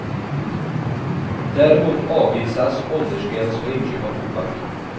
Däremot avvisas åldersgräns för inköp av tobak.